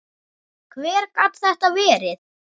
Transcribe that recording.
Hver gat þetta verið?